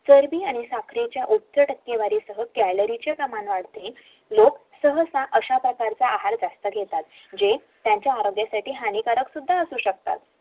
चर्व्बि आणि साखरेने कलरीचे प्रमाण वाढते लोक जास्त प्रमाणात हा आहार जास्त घेतात